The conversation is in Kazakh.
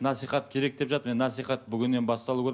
насихат керек деп жатыр енді наисхат бүгіннен басталу керек